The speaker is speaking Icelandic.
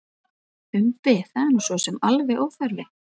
Umbi: Það er nú sosum alveg óþarfi.